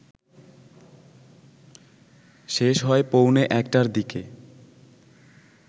শেষ হয় পৌণে একটার দিকে